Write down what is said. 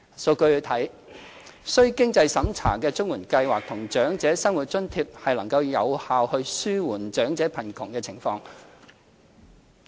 數據顯示，須經濟審查的綜援計劃和長者生活津貼能有效紓緩長者貧窮的情況。